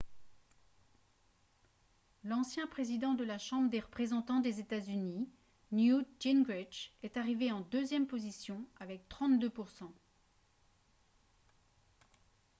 l'ancien président de la chambre des représentants des états-unis newt gingrich est arrivé en deuxième position avec 32 %